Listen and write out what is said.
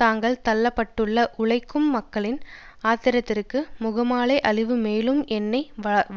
தாங்கத் தள்ள பட்டுள்ள உழைக்கும் மக்களின் ஆத்திரத்திற்கு முகமாலை அழிவு மேலும் எண்ணெய்